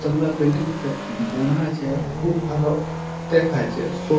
তালা বিল্ডিংতে বোনা আছে আর খুব ভালো দেখাচ্ছে। সো --